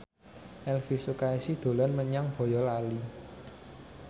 Elvi Sukaesih dolan menyang Boyolali